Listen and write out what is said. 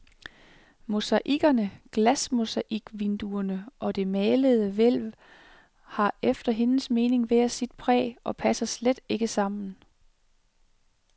Mosaikkerne, glasmosaikvinduerne og det malede hvælv har efter hendes mening hver sit præg og passer slet ikke sammen.